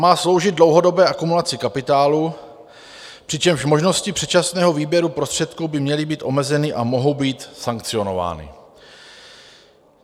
Má sloužit dlouhodobé akumulaci kapitálu, přičemž možnosti předčasného výběru prostředků by měly být omezeny a mohou být sankcionovány.